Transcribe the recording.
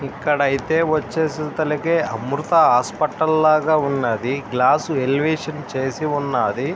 ఇక్కడ ఐతే వచ్సి అమృత హాస్పిటల్ లాగా ఉనది. Glass elevation చేసియూనది.